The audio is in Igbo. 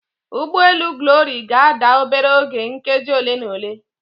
Ụgbọ elu Glory ga-ada obere oge nkeji ole na ole.